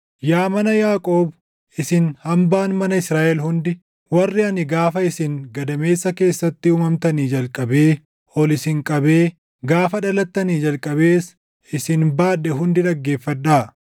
“Yaa mana Yaaqoob, isin hambaan mana Israaʼel hundi, warri ani gaafa isin gadameessa keessatti // uumamtanii jalqabee ol isin qabee gaafa dhalattanii jalqabees isin baadhe hundi dhaggeeffadhaa.